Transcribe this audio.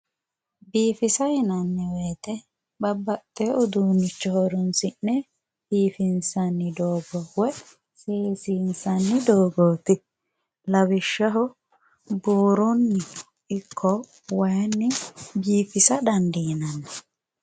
Biifisa yinanni woyite babbaxxewo uduunnicho horoonsi'ne biifinsanni doogo woyi seesinsanni doogooti. Lawishshaho; buurunni ikko wayiinni biifisa daandinanni.